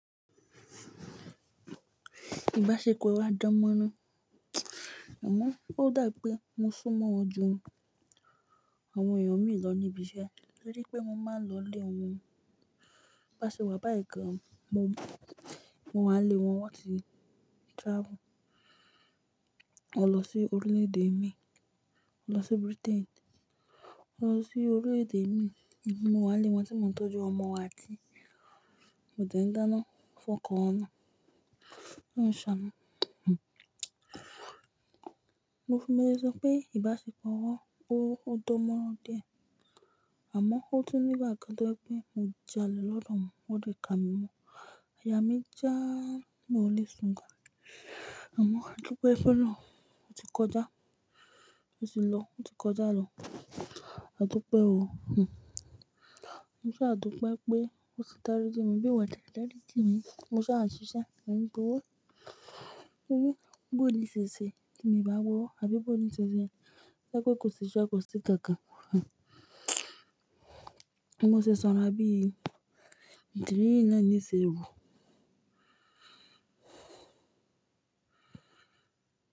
Ìbáṣepọ̀ wa dánmọ́rán. Àmọ́, ó dà pé mo súnmọ́ ju àwọn èèyàn mi lọ níbi iṣẹ́, torí pé mo máa ń lọ lé wọn. Bá ṣe wà báyii gan, mo wáa ni ilé wọn won ti travel. Won lọ sí orílẹ̀-èdè mi, mo lọ sí Britain, mo lọ sí orílẹ̀-èdè mi, mo wá lé wọn tí mò ń tọ́jú ọmọ wa tí kò tẹ̀ń dáná fún ọkọ wọn náà. Ólorun ṣaanu. Mo lẹ́ so pé ìbáṣepọ̀ wọn ó dánmọ́rán díẹ̀. Àmọ́, ó tún nígbà kan tó jẹ́ pé mo jàle lọ́dọ̀ wọn, wọ́n dẹ̀ kà mí mọ. Ayá mi já mi oò lé ṣùn gan. Àmọ́, àdup fun olorun, ó ti kọjá, ó ti lọ, ó ti kọjá lọ. Àdúpẹ́ o. Mo sha dúpẹ́ pé wón ti dárí ji mi bí won oo tie, dárí jí mi, mo sá a ṣiṣẹ́, mo n gbowó léṣe ṣe kí mi bá wò ó, àbí bó ti ṣe ṣẹ́, sé pé kò sí iṣẹ́, kò sí kankan. Bi mo ṣe sanrọa bí ìdí yí, ná ni ṣe ru.